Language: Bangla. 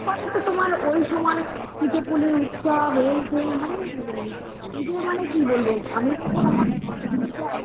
কত তো তোমার ঐসময় পিঠেপুলির উৎসব এই সেই মানে কি বলবো